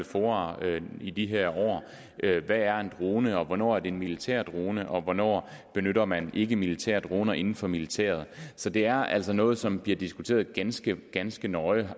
fora i de her år hvad er en drone og hvornår er det en militær drone og hvornår benytter man ikkemilitære droner inden for militæret så det er altså noget som bliver diskuteret ganske ganske nøje